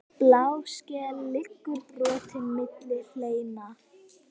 Bláskel liggur brotin milli hleina.